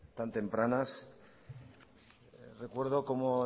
tan tempranas recuerdo como